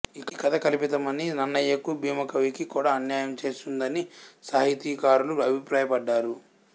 ఈ కథ కల్పితమనీ నన్నయకూ భీమకవికీ కూడా అన్యాయం చేస్తున్నదనీ సాహితీకారులు అభిప్రాయపడ్డారు